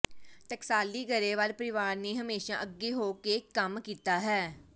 ਟਕਸਾਲੀ ਗਰੇਵਾਲ ਪਰਿਵਾਰ ਨੇ ਹਮੇਸ਼ਾਂ ਅੱਗੇ ਹੋ ਕੇ ਕੰਮ ਕੀਤਾ ਹੈ